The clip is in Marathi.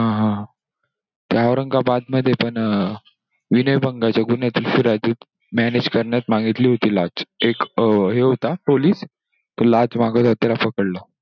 हा हा! ते औरंगाबाद मध्ये पण विनयभंगाचे गुन्हे manage करण्यास मागितली होती लाच. एक हे होता police तो लाच मागतांना सापडला.